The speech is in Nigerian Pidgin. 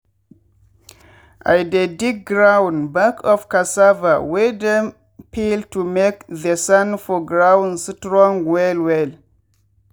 i dey dig ground back of cassava wey dem peel to make the sand for ground strong well well.